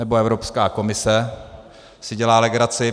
Nebo Evropská komise si dělá legraci.